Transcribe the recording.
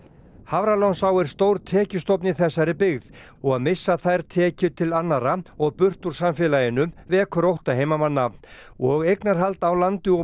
Hafralónsá er stór tekjustofn í þessari byggð og að missa þær tekjur til annarra og burt úr samfélaginu vekur ótta heimamanna og eignarhald á landi og